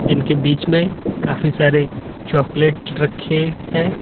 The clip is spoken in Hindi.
इनके बीच में काफी सारे चॉकलेट रखे हैं।